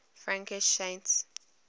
frankish saints